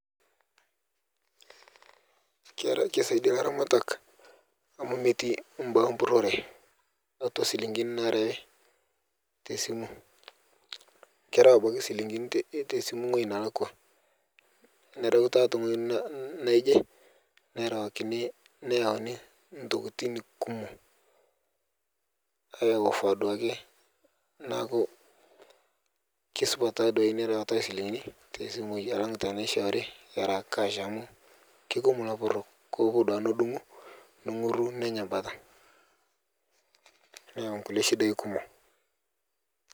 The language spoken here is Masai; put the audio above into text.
Keisadia laramatak amu metii mbaa empurore tatua silingini narewi tesimu kereu abaki silingini tesimu ng'oji nelakwa ,nerewi teng'oji naije nerewakini nneyauni ntokitin kumo aeofa duake naku kesupat duake nia rewata esilingini tesimui alang teneshoori era kash amu keikumo lapurok kepuo duake nedungu nenguru nenya mbata neyau nkule shidai kumo.